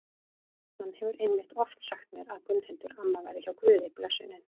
Hann hefur einmitt oft sagt mér að Gunnhildur amma væri hjá Guði blessunin.